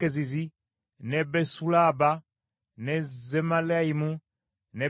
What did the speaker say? ne Besualaba ne Zemalayimu ne Beseri,